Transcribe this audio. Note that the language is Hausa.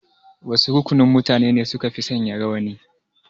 Wasu rukunin mutane ne sukafi sanya rawani?